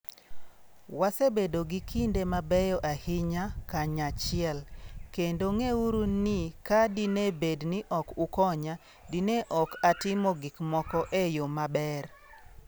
Wasebedo gi kinde mabeyo ahinya kanyachiel, kendo ng'euru ni ka dine bed ni ok ukonya, dine ok atimo gik moko e yo maber.